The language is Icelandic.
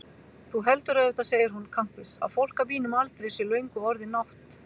Þú heldur auðvitað, segir hún kankvís, að fólk á mínum aldri sé löngu orðið nátt-